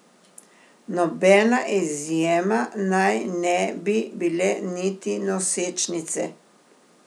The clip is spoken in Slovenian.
Nobena izjema naj ne bi bile niti nosečnice.